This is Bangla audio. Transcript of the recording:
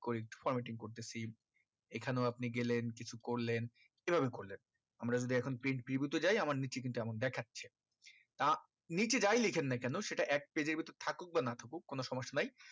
করে formating করতেছি এই খানেও আপনি গেলেন কিছু করলেন কি ভাবে আমরা যদি এখন print preview তে যায় আমার নিচে কিন্তু amount দেখাচ্ছে তা নিচে যাই লেখেন এ কোনো সেটা এক page এর ভিতর থাকুক বা না থাকুক কোনো সমস্যা নাই